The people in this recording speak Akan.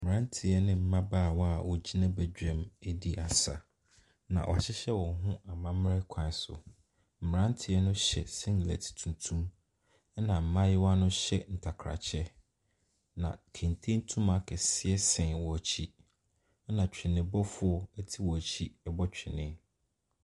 Mmeranteɛ ne mmabaawa a wɔgyina badwam redi asa, na wɔahyehyɛ wɔn ho amammrɛ kwan so. Mmeranteɛ no hyɛ singlet tuntum, ɛnna mmayewa no hyɛ ntakrakyɛ, na kente ntoma kɛseɛ sɛn wɔn akyi, ɛnna twenebɔfoɔ te wɔn akyi rebɔ twene.